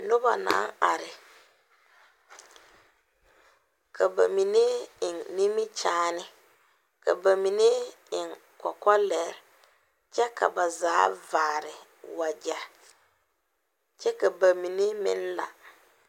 Noba naŋ are ka ba mine eŋe nimikyaane, ka ba mine eŋe kɔkɔlɛɛ kyɛ ka ba zaa vaare wagyɛ kyɛ ka ba mine meŋ la.